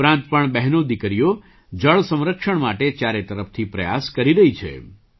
તે ઉપરાંત પણ બહેનોદીકરીઓ જળ સંરક્ષણ માટે ચારે તરફથી પ્રયાસ કરી રહી છે